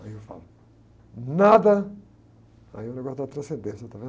Aí eu falo, nada, aí é o negócio da transcendência, está vendo?